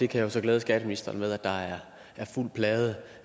kan så glæde skatteministeren med at der er fuld plade